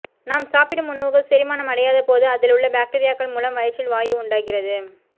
நாம் சாப்பிடும் உணவுகள் செரிமானம் அடையாத போது அதில் உள்ள பாக்டீரியாக்கள் மூலம் வயிற்றில் வாயு உண்டாகுகிறது